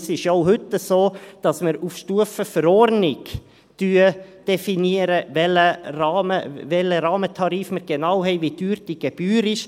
Es ist ja auch heute so, dass wir auf Stufe Verordnung definieren, welchen Rahmentarif wir genau haben, wie teuer die Gebühr ist.